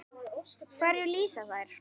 Hverju lýsa þær?